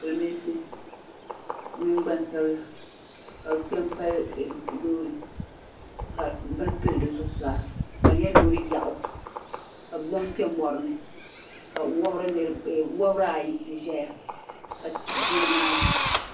Silimiinsi bɛ mini gbansabila ka bɛ kpe m-pali loori ka bini pili di zuɣusaa ka di nyɛ loori yaɣu ka bɛ zaŋ kpe mɔri ni ka wabiri ayi ti ʒeya ka tihi ʒe nimaani.